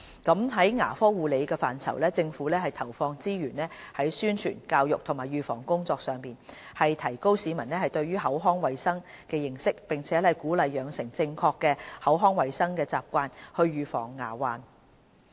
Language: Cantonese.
在牙科護理的範疇，政府投放資源於宣傳、教育和預防工作上，提高市民對口腔衞生的認識並鼓勵養成正確的口腔衞生習慣以預防牙患。